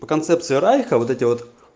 по концепции райха вот эти вот